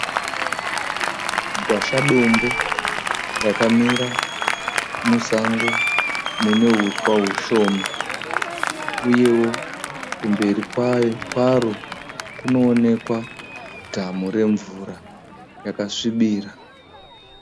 Gwashadombo rakamira musango mune huswa hushoma, uyewo kumberi kwaro kunoonekwa dhamu remvura yakasvibira.